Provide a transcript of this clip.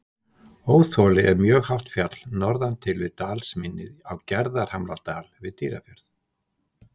Óþoli er mjög hátt fjall norðan til við dalsmynnið á Gerðhamradal við Dýrafjörð.